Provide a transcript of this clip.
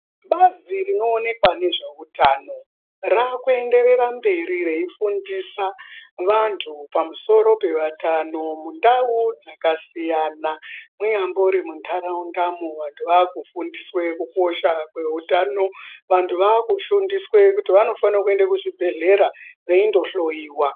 Bazi rinoonekwa nezveutano rakuenderera mberi reifundisa vantu pamusoro pevatano mundau dzakasiyana, munyambori muntaraundamo, vantu vakufundiswe kukosha kweutano. Vantu vakufundiswe kuti vanofanire kuende kuzvibhedhlera veindohloyiwa.